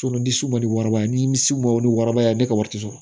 ni sunba ni waraba nimisiw ma o ni waraba ye ne ka wari tɛ sɔrɔ